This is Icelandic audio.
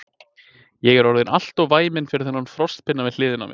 Ég er orðinn alltof væminn fyrir þennan frostpinna við hliðina á mér.